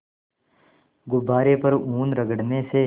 गुब्बारे पर ऊन रगड़ने से